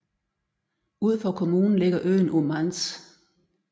Ud for kommunen ligger øen Ummanz